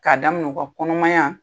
K'a daminɛ u ka kɔnɔmaya